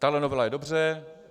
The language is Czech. Tahle novela je dobře.